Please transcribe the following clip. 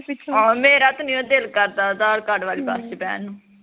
ਆਹੋ ਮੇਰਾ ਤੇ ਨਹੀਂਓ ਦਿਲ ਕਰਦਾ ਅਧਾਰ ਕਾਡ ਵਾਲੀ ਹਮ ਬਸ ਚ ਬਹਿਣ ਨੂੰ